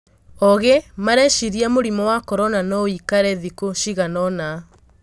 Ogĩ mareciria mũrimũ wa Korona noũikare thikũ ciganaona.